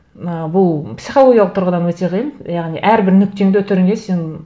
ыыы бұл психологиялық тұрғыдан өте қиын яғни әрбір нүктеңді үтіріңе сен